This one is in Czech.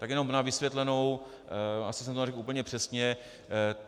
Tak jenom na vysvětlenou, asi jsem to neřekl úplně přesně.